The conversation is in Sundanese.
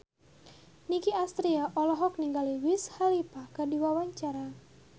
Nicky Astria olohok ningali Wiz Khalifa keur diwawancara